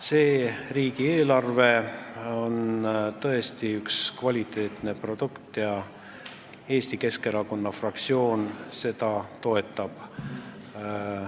See riigieelarve on tõesti kvaliteetne produkt ja Eesti Keskerakonna fraktsioon toetab seda.